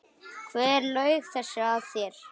Hver laug þessu að þér?